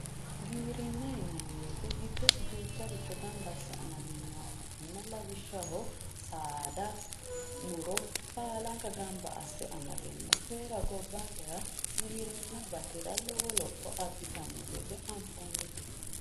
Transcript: Giwirinna yinnanni woyte giddosi duucharicho gamba asse amadinoha ikkanna lawishshaho saada muro baallanka gamba asse amadinoho koyira gobbankera giwirinna batira lowo lopho abbittano gede anfonite.